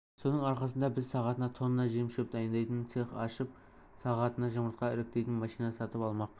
соның арқасында біз сағатына тонна жем-шөп дайындайтын цех ашып сағатына жұмыртқа іріктейтін машина сатып алмақпыз